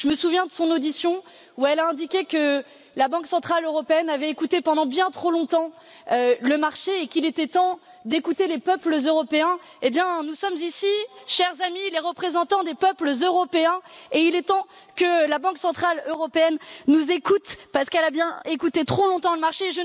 Je me souviens de son audition où elle a indiqué que la Banque centrale européenne avait écouté pendant bien trop longtemps le marché et qu'il était temps d'écouter les peuples européens. Eh bien, nous sommes ici, chers amis, les représentants des peuples européens, et il est temps que la Banque centrale européenne nous écoute, parce qu'elle a bien trop longtemps écouté le marché.